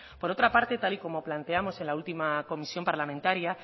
por otra parte tal como y como planteamos en la última comisión parlamentaria